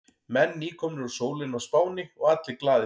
Menn nýkomnir úr sólinni á Spáni og allir glaðir.